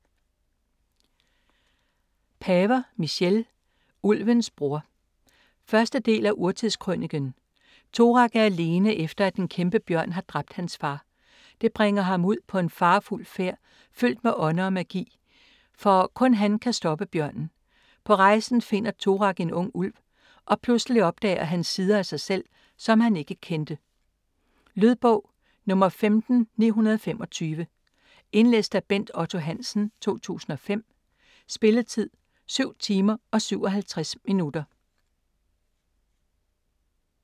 Paver, Michelle: Ulvens bror 1. del af Urtidskrøniken. Torak er alene, efter at en kæmpebjørn har dræbt hans far. Det bringer ham ud på en farefuld færd fyldt med ånder og magi, for kun han kan stoppe bjørnen. På rejsen finder Torak en ung ulv, og pludselig opdager han sider af sig selv, som han ikke kendte. Lydbog 15925 Indlæst af Bent Otto Hansen, 2005. Spilletid: 7 timer, 57 minutter.